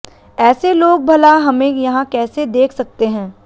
ऐसे लोग भला हमें यहाँ कैसे देख सकते हैं